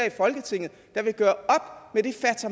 i folketinget der vil gøre